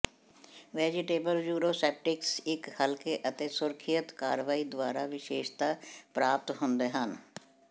vegetable uroseptics ਇੱਕ ਹਲਕੇ ਅਤੇ ਸੁਰੱਖਿਅਤ ਕਾਰਵਾਈ ਦੁਆਰਾ ਵਿਸ਼ੇਸ਼ਤਾ ਪ੍ਰਾਪਤ ਹੁੰਦੇ ਹਨ